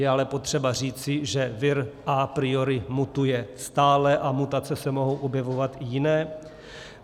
Je ale potřeba říci, že vir a priori mutuje stále a mutace se mohou objevovat i jiné.